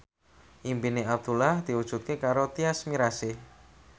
impine Abdullah diwujudke karo Tyas Mirasih